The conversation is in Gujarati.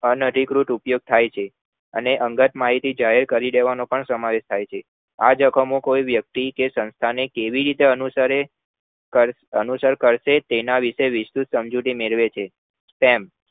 અન અધિકૃત ઉપયોગ થાય છે અને અંગત માહિતી જાહેર કરી દેવાનો પણ સમાવેશ થાય છે આ જોખમો કોઈ વ્યક્તિ કે સંસ્થા માં કેવી રીતે અનુસરે કર અનુસર કરશે તેના વિષે તે વુંસ્ત્રુર સમજુતી મેલેવે છે spam